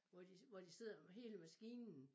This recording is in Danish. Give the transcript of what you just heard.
Hvor de hvor de sidder med hele maskinen